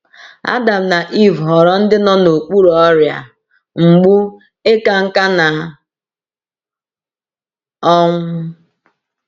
Adam na Ivụ ghọrọ ndị nọ n’okpuru ọrịa, mgbu, ịka nká, na ọnwụ.